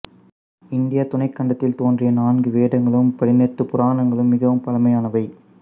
இந்தியத் துணைக் கண்டத்தில் தோன்றிய நான்கு வேதங்களும் பதினெட்டுப் புராணங்களும் மிகவும் பழமையானவை